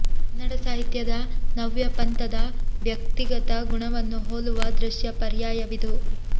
ಕನ್ನಡ ಸಾಹಿತ್ಯದ ನವ್ಯ ಪಂಥದ ವ್ಯಕ್ತಿಗತ ಗುಣವನ್ನು ಹೋಲುವ ದೃಶ್ಯ ಪರ್ಯಾಯವಿದು